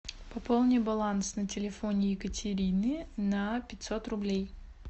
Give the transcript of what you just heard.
пополни баланс на телефоне екатерины на пятьсот рублей